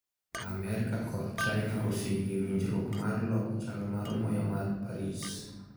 Amerka kor China oseyie winjruok mar loko chal mar muya mar Paris